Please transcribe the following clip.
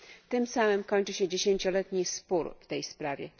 Tym samym kończy się dziesięcioletni spór w tej sprawie.